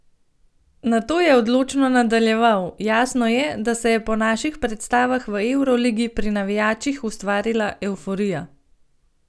Nato je odločno nadaljeval: "Jasno je, da se je po naših predstavah v evroligi pri navijačih ustvarila evforija.